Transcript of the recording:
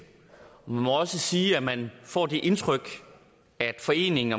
man må også sige at man får det indtryk at foreningen